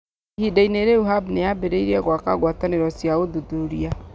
Ihinda-inĩ rĩu, Hub nĩ yambĩrĩirie gwaka ngwatanĩro cia ũtuĩria.